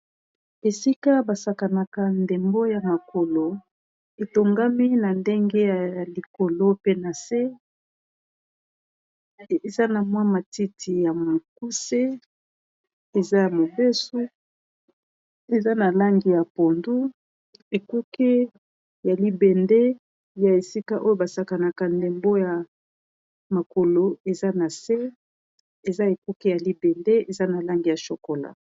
Esika basakanaka ndembo ya makolo etongami na ndenge ya likolo pe na se eza na mwa matiti ya mokuse eza ya mobeso eza na langi ya pondu ekuke ya libende ya esika oyo basakanaka ndembo ya makolo eza na se eza ekuke ya libende eza na langi ya chokola.